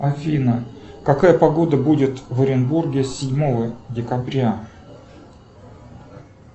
афина какая погода будет в оренбурге седьмого декабря